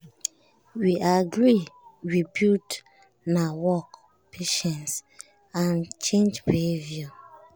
we agree say rebuild na work patience and change behavior.